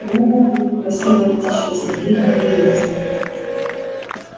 гу гу гу красивая птичка снегирь на берёзе